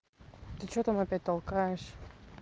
ты что там опять толкаешь